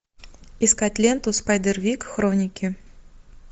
искать ленту спайдервик хроники